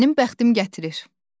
Mənim bəxtim gətirir.